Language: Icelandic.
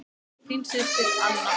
Þín systir, Anna.